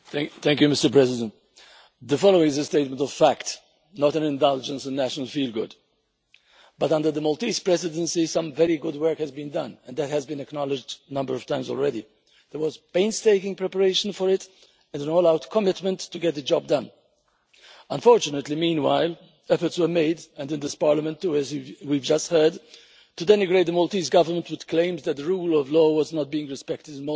Mr President, the following is a statement of fact, not an indulgence in national feel good under the Maltese Presidency some very good work has been done, and that has been acknowledged a number of times already. There was painstaking preparation for it and an all out commitment to get the job done. Unfortunately, meanwhile, efforts were made including in this Parliament, as we have just heard to denigrate the Maltese Government with claims that the rule of law was not being respected in Malta.